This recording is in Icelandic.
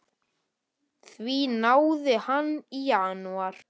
Því náði hann í janúar.